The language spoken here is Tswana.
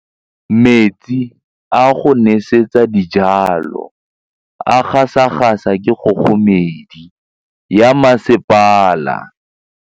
Metsi a go nosetsa dijalo a gasa gasa ke kgogomedi ya masepala.